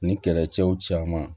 Ni kɛlɛcɛw caman